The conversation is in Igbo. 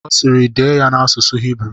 Ọ sịịrị, dee ya n'asụsụ Hibru!